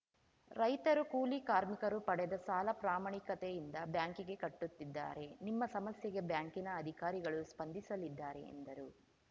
ರೈತರು ಕೂಲಿ ಕಾರ್ಮಿಕರು ಪಡೆದ ಸಾಲ ಪ್ರಾಮಾಣಿಕತೆಯಿಂದ ಬ್ಯಾಂಕಿಗೆ ಕಟ್ಟುತ್ತಿದ್ದಾರೆ ನಿಮ್ಮ ಸಮಸ್ಯೆಗೆ ಬ್ಯಾಂಕಿನ ಅಧಿಕಾರಿಗಳು ಸ್ಪಂದಿಸಲಿದ್ದಾರೆ ಎಂದರು